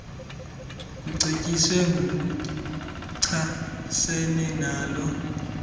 kucetyiswe ngokuchasene nalo